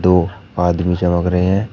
वो आदमी चमक रहे हैं।